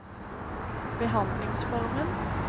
behandlingsformen